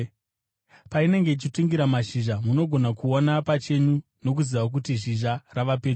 Painenge ichitungira mashizha, munogona kuona pachenyu nokuziva kuti zhizha rava pedyo.